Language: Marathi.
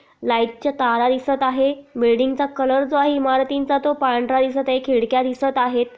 लाइट च्या तारा दिसत आहे बिल्डींग चा कलर जो आहे इमारतींचा तो पांढरा दिसत आहे खिडक्या दिसत आहेत.